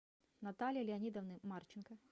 натальи леонидовны марченко